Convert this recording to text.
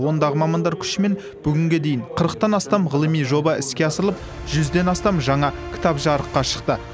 ондағы мамандар күшімен бүгінге дейін қырықтан астам ғылыми жоба іске асырылып жүзден астам жаңа кітап жарыққа шықты